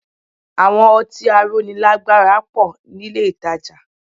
Àwọn ọtí aróni lágbára pọ̀ nílé ìtajà